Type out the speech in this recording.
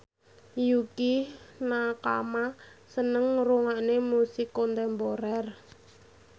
Yukie Nakama seneng ngrungokne musik kontemporer